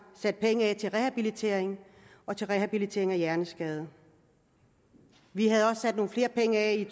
sat penge af til rehabilitering og til rehabilitering af hjerneskadede vi havde også sat nogle flere penge af i